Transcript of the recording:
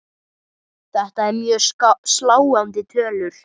Þetta eru mjög sláandi tölur.